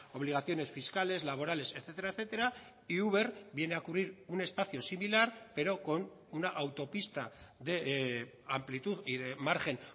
obligaciones fiscales laborales etcétera etcétera y uber viene a cubrir un espacio similar pero con una autopista de amplitud y de margen